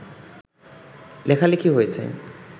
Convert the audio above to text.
লেখালেখি হয়েছে